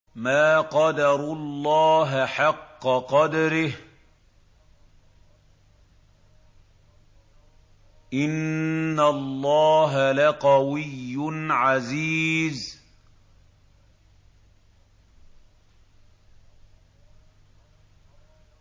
مَا قَدَرُوا اللَّهَ حَقَّ قَدْرِهِ ۗ إِنَّ اللَّهَ لَقَوِيٌّ عَزِيزٌ